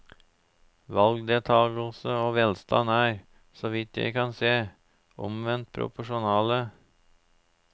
Valgdeltakelse og velstand er, så vidt jeg kan se, omvendt proporsjonale.